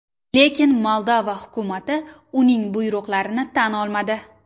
Lekin Moldova hukumati uning buyruqlarini tan olmadi.